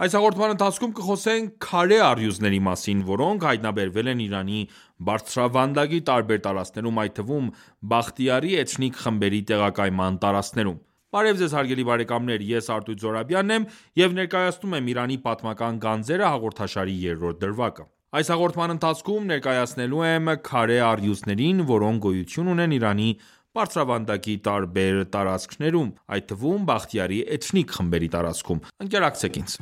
Այս հաղորդման ընթացքում կխոսենք «քարե առյուծների» մասին, որոնք հայտնաբերվել են Իրանի բարձրավանդակի տարբեր տարածքներում, այդ թվում՝ Բախտիարի էթնիկ խմբերի տեղակայման տարածքներում։ Բարև Ձեզ ես... եմ և ներկայացնում եմ «Իրանի պատմական գանձերը» հաղորդաշարի երրորդ դրվագը։ Այս հաղորդման ընթացքում ներկայացնելու եմ «քարե առյուծներին, որոնք գոյություն ունեն Իրանի բարձրավանդակի տարբեր տարածքներում, այդ թվում՝ Բախտիարի էթնիկ խմբերի տարածքներում։ Ընկերակցեք մեզ